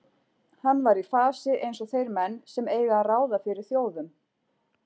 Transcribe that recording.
Hann var í fasi eins og þeir menn sem eiga að ráða fyrir þjóðum.